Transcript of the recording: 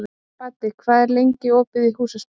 Baddi, hvað er lengi opið í Húsasmiðjunni?